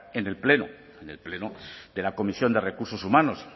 en el pleno de la comisión de recursos humanos